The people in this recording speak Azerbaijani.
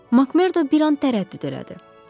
MacMerdo bir an tərəddüd elədi.